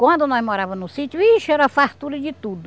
Quando nós morava no sítio, ixe era fartura de tudo.